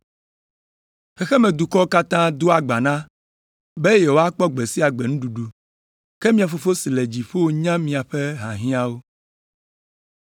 Xexemedukɔwo katã dagbana be yewoakpɔ gbe sia gbe nuɖuɖu, ke mia Fofo si le dziƒo nya miaƒe hiahiãwo.